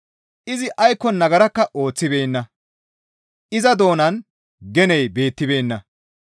Izi aykko nagarakka ooththibeenna; iza doonan geney beettibeenna.